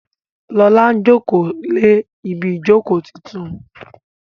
Lọla njoko lẹ Ibi ìjókòó títún.